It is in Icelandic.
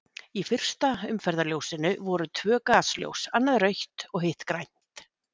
Í fyrsta umferðarljósinu voru tvö gasljós, annað rautt og hitt grænt.